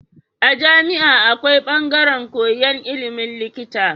A jami'a akwai bangaran koyan ilimin likita